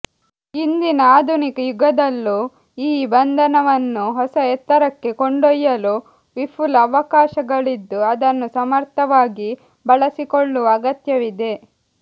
ಇಂದಿನ ಆಧುನಿಕ ಯುಗದಲ್ಲೂ ಈ ಬಂಧವನ್ನು ಹೊಸ ಎತ್ತರಕ್ಕೆ ಕೊಂಡೊಯ್ಯಲು ವಿಫುಲ ಅವಕಾಶಗಳಿದ್ದು ಅದನ್ನು ಸಮರ್ಥವಾಗಿ ಬಳಸಿಕೊಳ್ಳುವ ಅಗತ್ಯವಿದೆ